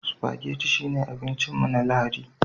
Spaghetti shine abincin mu na Lahadi